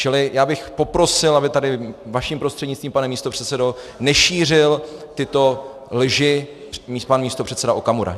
Čili já bych poprosil, aby tady vaším prostřednictvím, pane místopředsedo, nešířil tyto lži pan místopředseda Okamura.